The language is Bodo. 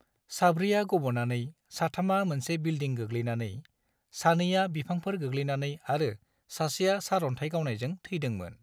साब्रैया गब'नानै, साथामा मोनसे बिल्डिं गोग्लैनानै, सानैया बिफांफोर गोग्लैनानै आरो सासेया सार'न्थाय गावनायजों थैदोंमोन।